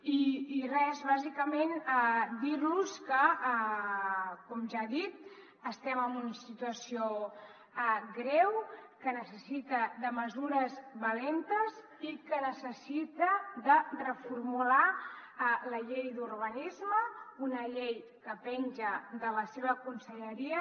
i res bàsicament dir los que com ja he dit estem en una situació greu que necessita mesures valentes i que necessita reformular la llei d’urbanisme una llei que penja de la seva conselleria